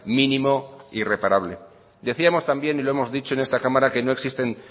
mínimo y reparable decíamos también y lo hemos dicho en esta cámara que no existen